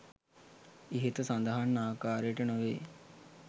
ඉහත සඳහන් ආකාරයට නොවේ.